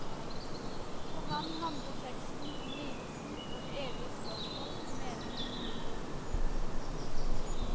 For ham handler teksten om lidelsen og de evige spørsmål om meningen med livet.